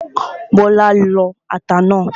Bọ́lá ń lọ ata náà